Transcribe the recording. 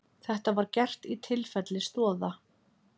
Þetta var gert í tilfelli Stoða